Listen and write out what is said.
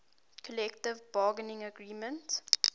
collective bargaining agreement